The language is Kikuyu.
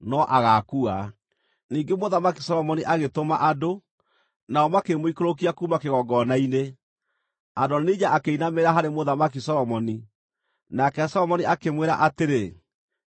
Ningĩ Mũthamaki Solomoni agĩtũma andũ, nao makĩmũikũrũkia kuuma kĩgongona-inĩ. Adonija akĩinamĩrĩra harĩ Mũthamaki Solomoni, nake Solomoni akĩmwĩra atĩrĩ, “Inũka gwaku mũciĩ.”